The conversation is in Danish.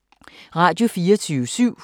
Radio24syv